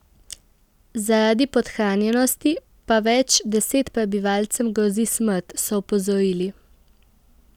Zaradi podhranjenosti pa več deset prebivalcem grozi smrt, so opozorili.